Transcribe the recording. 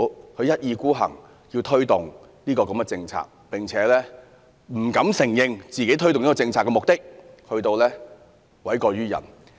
政府一意孤行要推動這項政策，不單不敢承認推動這項政策的目的，更要諉過於人。